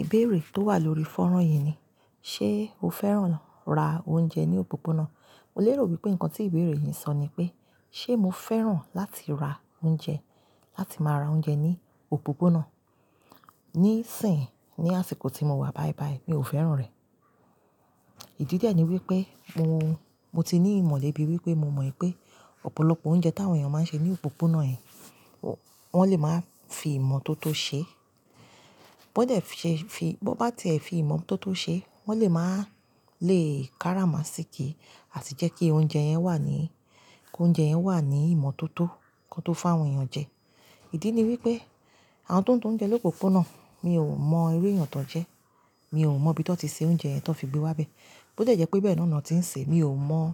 Ìbéèrè tó wà lórí fọ́nrán yìí ni, ṣe o fẹ́ràn ra oúnjẹ ní òpópónà? Mo lérò wípé nǹkan tí ìbéèrè yìí ń sọ ni pé, ṣe mo fẹ́ràn láti ra oúnjẹ, láti máa ra oúnjẹ ní òpópónà? Nisìnyí, ní àsìkò tí mo wà báyìí báyìí, mi ò fẹ́ràn rẹ̀. Ìdí dẹ̀ ni wípé mo, mo ti ní ìmọ̀lẹ̀ bíi wípé mo mọ̀ wípé ọ̀pọ̀lọpọ̀ oúnjẹ táwọn èèyàn máa ń ṣe ní òpópónà yẹ̀n, wọ́n lè máa fi ìmọ̀ tó tó ṣe. Bódẹ̀ fi, fi, bo bá ti e fi ìmọ̀ tó tó ṣe, wọn lè máa léè kára masiki àti jẹ́ kí oúnjẹ yẹn wà ní, kí oúnjẹ yẹn wà ní ìmọ̀ tó tó, kọn tó fún àwọn èèyàn jẹ. Ìdí ni wípé àwọn tó ń ta oúnjẹ lópópónà, mi ò mọ irú èèyàn tó ń jẹ. Mi ò mọ̀ bí tọ́ ti ṣe oúnjẹ yẹn tó fi gbé wá bẹ. Bódẹ̀ jẹ́ pé bẹ́ẹ̀ náà ni wọ́n ti ń ṣe, mi ò mọ̀.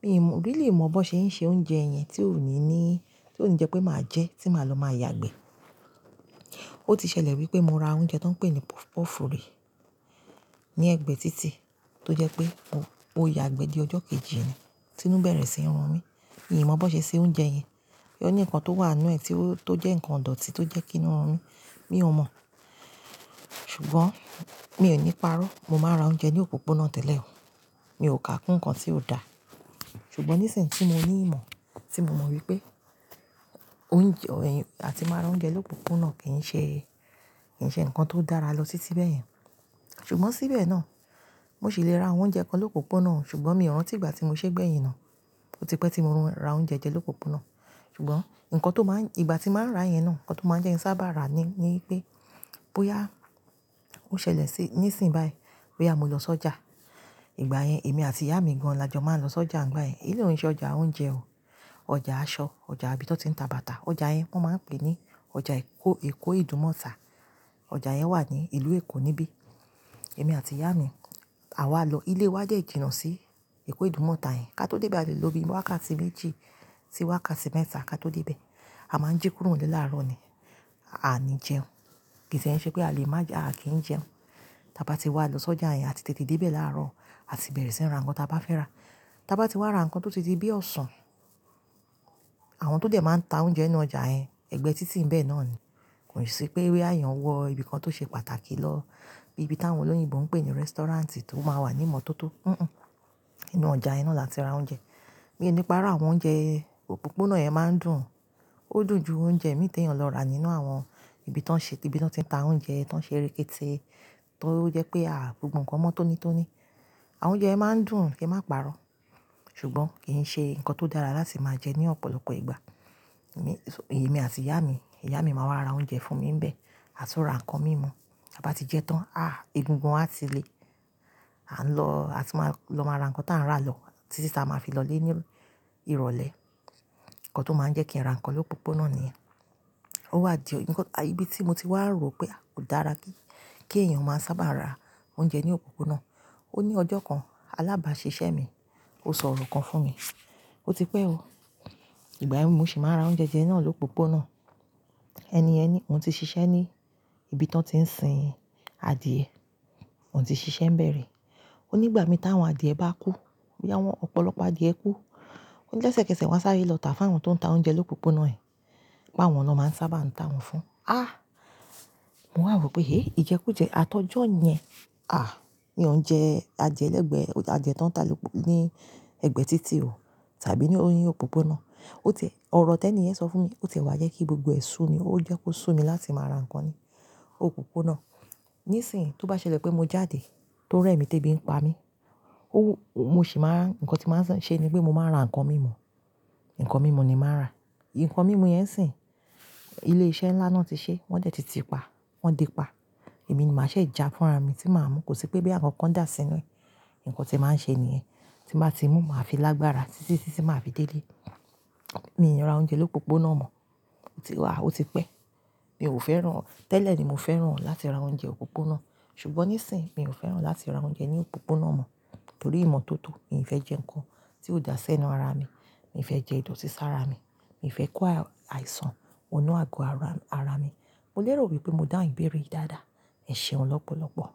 Mi ò mọ̀, bí lè mọ̀ bó ṣe ń ṣe oúnjẹ yẹn tí ó ní ní, tí ó ní jẹ́ pé màá jẹ, tí màá lọ máa yàgbẹ́. Ó ti ṣẹlẹ̀ wípé mo ra oúnjẹ tó ń pè ní puff puff rí ní Ẹgbẹ́ títì tó jẹ́ pé ó, ó yàgbẹ́ dé ọjọ́ kejì ni, tí nú bẹ̀rẹ̀ sí run mí. Mi ò mọ bó ṣe ṣe oúnjẹ yẹn. Ó ní nǹkan tó wà nínú ẹ̀ tí ó, tó jẹ́ ǹkan idọti tó jẹ́ kí inú run mí. Mi ò mọ̀. Ṣùgbọ́n mi ò ní parọ́. Mo máa ra oúnjẹ ní òpópónà tẹ́lẹ̀ oo. Mi ò kà kún ǹkan tí ó da. Ṣùgbọ́n nisìnyí tí mo ní ìmọ̀, tí mo mọ̀ wípé oúnjẹ, ẹ̀yin, àti máa ra oúnjẹ lópópónà kì í ṣe, kì í ṣe ǹkan tó dára lọ títí bẹ́ẹ̀ yẹn. Ṣùgbọ́n síbẹ̀ náà, mo sì lè ra àwọn oúnjẹ kan lópópónà, ṣùgbọ́n mi ò rántí ìgbà tí mo ṣe bẹ́ẹ̀ yìí náà. Ó ti pẹ́ tí mo ra oúnjẹ jẹ lópópónà. Ṣùgbọ́n nǹkan tó máa ń, ìgbà tí màá ra yẹn náà, nǹkan tó máa jẹ́ ní sábà rá ni, ni pé bóyá ó ṣẹlẹ̀ sí, nisìnyí báyìí, bóyá mo lọ sójà ìgbà yẹn, èmi àti ìyá mi gan-an lajọ máa ń lọ sójà nígbà yẹn. Ilé òun ṣe ọjà oúnjẹ o. Ọjà aṣọ, ọjà ibi tó ti ń ta bàtà. Ọjà yẹn wọ́n máa ń pè ní ọjà Èkó, Èkó Idumota. Ọjà yẹn wà ní ìlú Èkó níbí. Èmi àti ìyá mi, àwa lọ, ilé wa jẹ́ ìjìnnà sí Èkó Idumota yẹn. Ká to dé ibi ààlọ́ bí wákàtí méjì, sí wákàtí mẹ́ta ká tó dé ibẹ̀. A máa ń jí kúrò nílé láàárọ̀ ni, à ní jẹun. Kì tí ẹ ṣe pé a lè má jẹun, a kì í jẹun. Tábá ti wa lọ sójà yẹn, àti tètè dé ibẹ̀ láàárọ̀, à ti bẹ̀rẹ̀ sí ra ǹkan tí a bá fẹ́ rà. Tábá ti wá ra ǹkan tó ti dì bí osan ọ̀sán, àwọn tó dé máa ń ta oúnjẹ inú ọjà yẹn, ẹ̀gbẹ́ títì ìbẹ̀ náà ni. Kò sí pé bóyá èèyàn wọ ibi kan tó ṣe pàtàkì lọ bí ibi táwọn olóyinbo ń pè ní restaurant tó máa wà ní ìmọ̀ tó tó. Hìhùn. Inú ọjà yẹn na láti ra oúnjẹ. Mí ní pa irọ àwọn oúnjẹ, òpópónà yẹn máa ń dùn. Ó dùn ju oúnjẹ mìíràn lọ ra nínú àwọn ibi tó ń ṣe, ibi tó ti ń ta oúnjẹ, tó ń ṣe rikiti, tó jẹ́ pé à, gbogbo ǹkan mọ́ tónítóní. Àwọn oúnjẹ yẹn máa ń dùn kí ẹ má parọ́. Ṣùgbọ́n kì í ṣe ǹkan tó dára láti máa jẹ ní ọ̀pọ̀lọpọ̀ ìgbà. Èmi, èmi àti ìyá mi, ìyá mi máa wá ra oúnjẹ fún mi níbẹ̀, à tú ra ǹkan mímu. Tábá ti jẹ tán, à, egungun a ti lé. À ń lọ, à ti máa lọ máa ra ǹkan tí a ń rà lọ títí tí a máa fi lọlé ní ìrọ̀lẹ́. Ǹkan tó máa ń jẹ́ kí a ra ǹkan lópópónà ni. Ó wà dí, ǹkan, ibi tí mo ti wá rò pé kò dára kí, kí èèyàn máa sábà ra oúnjẹ ní òpópónà. Ó ní ọjọ́ kan, alábàásisẹ́ mi ó sọ ọ̀rọ̀ kan fún mi. Ó ti pẹ́ oo. Ìgbà yẹn mo sì máa ra oúnjẹ jẹ náà lópópónà. Ẹni ẹni, òun ti ṣiṣẹ́ ní ibi tó ti ń sin adìẹ. Òun ti ṣiṣẹ́ ń bẹ̀ri. Ó ní ìgbà mi táwọn adìẹ bá kú, bí àwọn ọ̀pọ̀lọpọ̀ adìẹ kú, ó ní lẹ́sẹ́kẹsẹ̀ wọ́n sáré lọ tà fún àwọn tó ń ta oúnjẹ lópópónà yẹn. Pé àwọn lọ máa ń sábà ń ta wọ́n fún. A! Mo wá rò pé eh ìjẹ́kújẹ́ atọ́jọ́ yẹn, à, ní òun jẹ, a jẹ ẹlẹ́gbẹ̀ẹ́, a jẹ tán ní òpó, ní Ẹgbẹ́ títì o, tàbí ní òun yín òpópónà. Ó tẹ̀, ọ̀rọ̀ tẹ ni ẹni yẹn sọ fún mi, ó sì wá jẹ́ kí gbogbo ẹ́ sú mi. Ó jẹ́ kó sú mi láti máa ra ǹkan ní òpópónà. Nisìnyí, tó bá ṣẹlẹ̀ pé mo jáde, tó rẹ́ mi tèbí ń pa mí, ó, mo sì máa ń, ǹkan tí màá ṣe ni pé mo máa ra ǹkan mímu. Ǹkan mímu ni màá rà. Ǹkan mímu yẹn sì, ilé iṣẹ́ ńlá náà ti ṣẹ́, wọ́n dẹ̀ ti ti ipa. Wọ́n dé pa. Èmi ni màá ṣe ìjà fún ara mi tí màá mú. Kò sí pé bí àwọn kan dàsínú ẹ. Ǹkan tí màá ṣe nìyẹn. Tí màá ti mú, màá fi lágbára títí tí sì máa fi dé ilé. Mi ò ní ra oúnjẹ lópópónà mọ́. Ó ti wà, ó ti pẹ́. Mi ò fẹ́ràn, tẹ́lẹ̀ ni mo fẹ́ràn láti ra oúnjẹ òpópónà. Ṣùgbọ́n nisìnyí mi ò fẹ́ràn láti ra oúnjẹ ní òpópónà mọ́ nítorí ìmọ̀ tó tó. Mi ò fẹ́ jẹ ǹkan tí ó dàsẹ́ ẹnu ara mi. Mi ò fẹ́ jẹ ìdọ̀tí sára mi. Mi ò fẹ́ kó àìsàn wọ inú àgọ́ ara, ara mi. Mo lérò wípé mo dá ìbéèrè yìí dáadáa. Ẹ ṣeun lọ́pọ̀lọ́pọ̀.